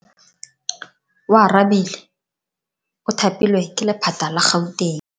Oarabile o thapilwe ke lephata la Gauteng.